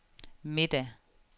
middag